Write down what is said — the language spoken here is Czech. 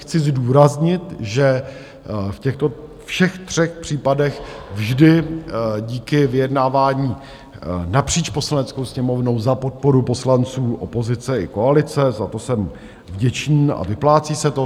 Chci zdůraznit, že v těchto všech třech případech vždy díky vyjednávání napříč Poslaneckou sněmovnou, za podpory poslanců opozice i koalice, za to jsem vděčný a vyplácí se to.